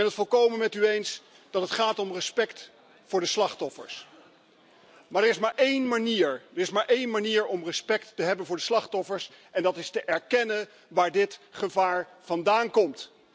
Ik ben het volkomen met u eens dat het gaat om respect voor de slachtoffers, maar er is maar één manier om respect te hebben voor de slachtoffers en dat is te erkennen waar dit gevaar vandaan komt.